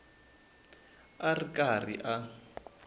a a ri karhi a